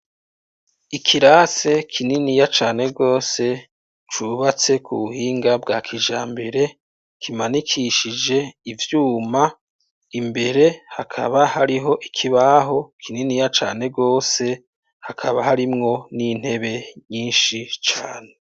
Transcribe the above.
Ikirase kininiya cane rwose cubatse ku buhinga bwa kijambere kimanikishije ivyuma imbere hakaba hariho ikibaho kininiya cane rwose hakaba harimwo n'intebe nyinshi cane.